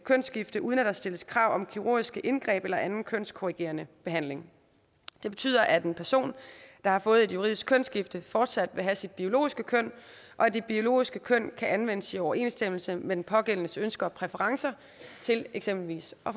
kønsskifte uden at der stilles krav om kirurgiske indgreb eller anden kønskorrigerende behandling det betyder at en person der har fået et juridisk kønsskifte fortsat vil have sit biologiske køn og at det biologiske køn kan anvendes i overensstemmelse med den pågældendes ønsker og præferencer til eksempelvis at